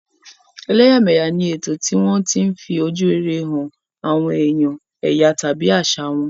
Ẹ̀lẹ́yà mẹ̀yà ni ètò tí wọ́n tí ń fi ojú rere hàn àwọn èèyàn èyà tàbí àṣà wọn